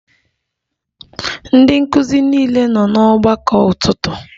Ndị nkụzi niile nọ n'ọgbakọ ụtụtụ?